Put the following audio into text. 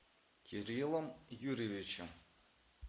кириллом юрьевичем